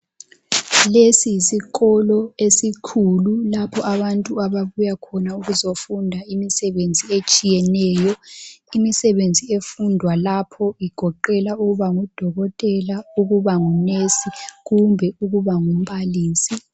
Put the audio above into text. Lesi yisikolo esikhulu lapho abantu ababuya khona ukuzofunda imisebenzi etshiyeneyo. Imisebenzi efundwa lapho igoqela ukuba ngudokotela, ukubangunesi kumbe ukuba ngumbalisi.